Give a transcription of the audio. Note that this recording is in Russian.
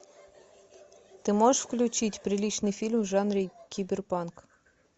ты можешь включить приличный фильм в жанре киберпанк